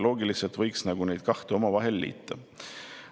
Loogiliselt võiks neid kahte omavahel liita.